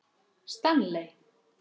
Stanley